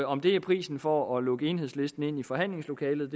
om det er prisen for at lukke enhedslisten ind i forhandlingslokalet